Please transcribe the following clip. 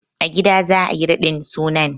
A gida za a yi raɗin sunan.